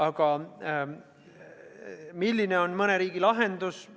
Aga milline on mõne teise riigi lahendus?